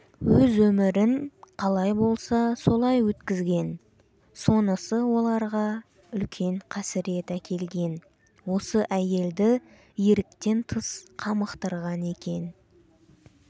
өз өмірін қалай болса солай өткізген сонысы оларға үлкен қасірет әкелген осы әйелді еріктен тыс қамықтырған екен